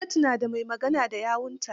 Gwamnati na da mai magana da yawunta.